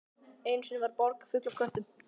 Einu sinni var borg full af köttum.